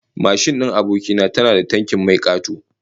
Mashin din aboki na tana da tankin mai kato